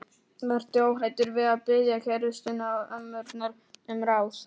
Vertu óhræddur við að biðja kærustuna og ömmurnar um ráð.